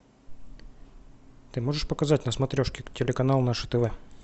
ты можешь показать на смотрешке телеканал наше тв